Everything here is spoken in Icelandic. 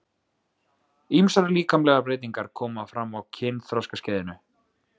Ýmsar líkamlegar breytingar koma fram á kynþroskaskeiðinu.